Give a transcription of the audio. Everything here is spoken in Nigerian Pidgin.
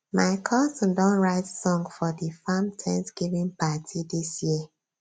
my cousin don write song for di farm thanksgiving party dis year